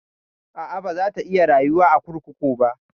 A'a, baza ta iya rayuwa a kurkuku ba.